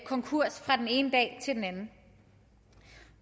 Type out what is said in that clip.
konkurs fra den ene dag til den anden